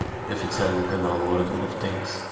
официальный канал ворлд оф тэнкс